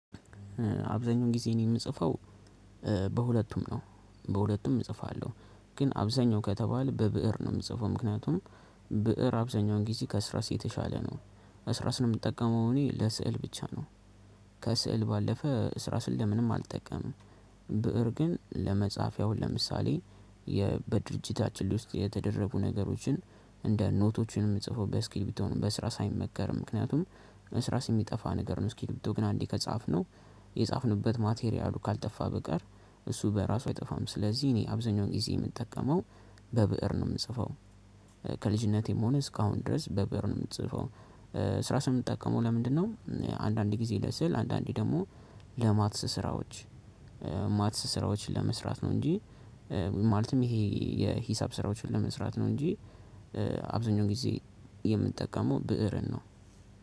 አብዛኛውን ጊዜ እኔ የምጽፈው በሁለቱም ነው። በሁለቱም እጽፋለሁ ግን አብዛኛው ከተባለ በብእር ነው የምጽፈው ምክንያቱም ብእር አብዛኛውን ጊዜ ከዕርሳስ የተሻለ ነው። ዕርሳስ ነው የምጠቀመው እኔ ለስዕል ብቻ ነው። ከስዕል ባለፈ ዕርሳስን ለምንም አልጠቀምም። ብእር ግን ለመጻፍ ያው ለምሳሌ በድርጅታችን ላይ ውስጥ የተደረጉ ነገሮችን እንደ ኖቶቹንም የምጽፈው በ እስክርቢቶ ነው። በእርሳስ አይመከርም ምክንያቱም ዕርሳስሚጠፋ ነገር ነው ስኪል ብትሆኑ ግን አንዴ ከጻፍነው የጻፍንበት ማቴሪያሉ ካልጠፋ በቀር እሱ በራሱ አይጠፋም። ስለዚህ እኔ አብዛኛውን ጊዜ የምጠቀመው በብእር ነው የምጽፈው። ከልጅነቴም ሆነ እስካሁን ድረስ በብእር ነው የምጽፈው። ዕርሳስን የምትጠቀመው ለምንድነው? አንዳንድ ጊዜ ለስዕል አንዳንዴ ደግሞ ለማትስ ስራዎች። ማትስ ስራዎችን ለመስራት ነው። እንጂ ማለትም ይሄ የሂሳብ ስራዎችን ለመስራት ነው። እንጂ አብዛኛው ጊዜ የምንጠቀመው ብእርን ነው።